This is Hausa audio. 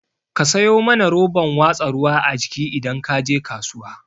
Ka sayo mana roban watsa ruwa a jiki idan kaje kasuwa